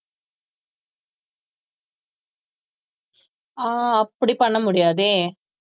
ஆஹ் அப்படி பண்ண முடியாதே